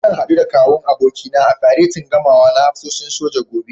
Zan haɗu da Kawun abokina a faretin gamawa na hafsoshin soja, gobe.